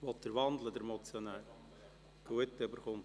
– Dann erhält er nochmals das Wort.